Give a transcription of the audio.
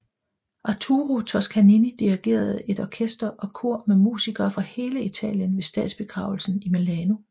Arturo Toscanini dirigerede et orkester og kor med musikere fra hele Italien ved statsbegravelsen i Milano